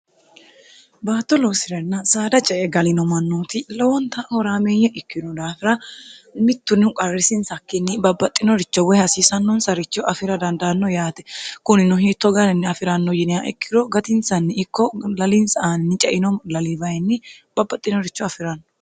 baatto loosi'ranna saada ce e galino mannooti lowonta horaameeyye ikkino daafira mittunnihu qarrisinsakkinni babbaxxinoricho woy hasiisannoonsaricho afira dandaanno yaate kunino hiitto garinni afi'ranno yiniya ikkiro gatinsanni ikko lalinsi aanni ceinoo lalibayinni babbaxxinoricho afi'rannno